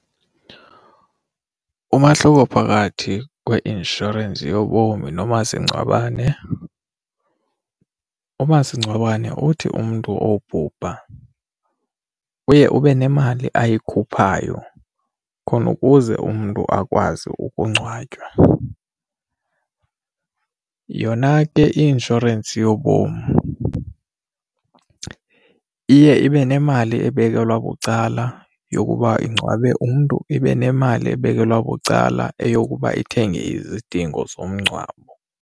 Umahluko phakathi kweinsurance yobomi nomasingcwabane, umasingcwabane uthi umntu obhuha uye ube nemali ayikhuphayo khona ukuze umntu akwazi ukungcwatywa. Yona ke i-inshorensi yobomi iye ibe nemali ebekelwa bucala yokuba ingcwabe umntu ibe nemali ebekelwa bucala eyokuba ithenge izidingo zomngcwabo.